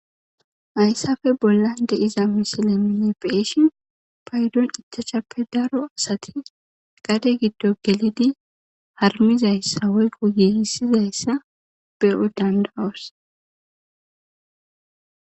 Hayissappe bollanni de'iza missilenni nuni be'ishshinn payiddonni ichachappe Daro asati gade giddonni gelid harumizayissa woyikko gigisizayissa be'o danida'osi.